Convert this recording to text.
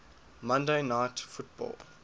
monday night football